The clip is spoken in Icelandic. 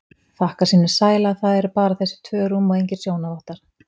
Þakkar sínum sæla að það eru bara þessi tvö rúm og engir sjónarvottar.